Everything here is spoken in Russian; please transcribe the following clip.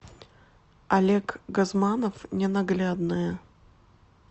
олег газманов ненаглядная